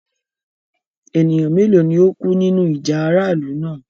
Ẹ̀nìyàn méloo ni o kú nínu ìjà aráàlù náà?